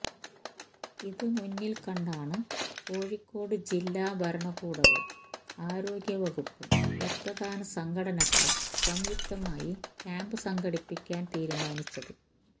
ഇത് മുന്നില് കണ്ടാണ് കോഴിക്കോട് ജില്ലാ ഭരണകൂടവും ആരോഗ്യ വകുപ്പും രക്തദാന സംഘടനകളും സംയുക്തമായി ക്യാമ്പ് സംഘടിപ്പിക്കാന് തീരുമാനിച്ചത്